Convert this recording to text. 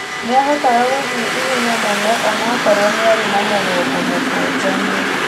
Nĩahotaga gũthiĩ ihenya mũno onakorwo niarĩ na mũgongo mũkũnjanu.